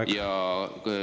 Teie aeg!